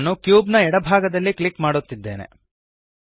ನಾನು ಕ್ಯೂಬ್ ನ ಎಡ ಭಾಗದಲ್ಲಿ ಕ್ಲಿಕ್ ಮಾಡುತ್ತಿದ್ದೇನೆ